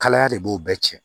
Kalaya de b'o bɛɛ cɛn